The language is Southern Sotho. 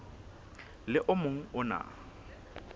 le o mong o na